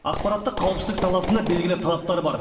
ақпараттық қауіпсіздік саласында белгілі талаптар бар